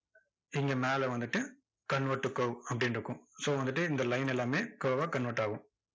இங்க மேல வந்துட்டு convert to curve அப்படின்னு இருக்கும் so வந்துட்டு இந்த line எல்லாமே curve ஆ convert ஆகும்.